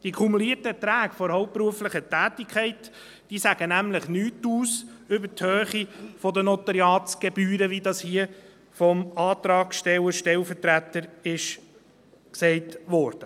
Die kumulierten Erträge der hauptberuflichen Tätigkeit sagen nämlich nichts aus über die Höhe der Notariatsgebühren, wie das hier vom Antragstellerstellvertreter gesagt wurde.